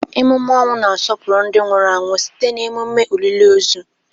Emume ọnwụ na-asọpụrụ ndị nwụrụ anwụ site na emume olili ozu.